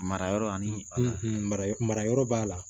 Mara yɔrɔ ani mara yɔrɔ b'a la